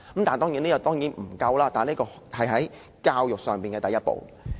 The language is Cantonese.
這當然不足夠，但是教育上的第一步。